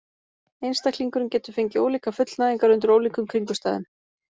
Einstaklingurinn getur fengið ólíkar fullnægingar undir ólíkum kringumstæðum.